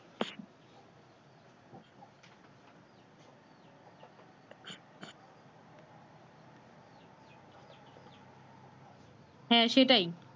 হ্যাঁ সেটাই